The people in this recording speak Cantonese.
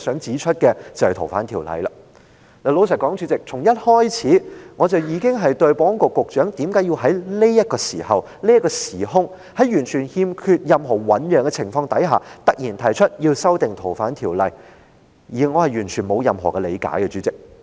主席，老實說，我從一開始已經對保安局局長為何在這個時候，在完全欠缺醞釀的情況下突然提出修訂《條例》絕不理解。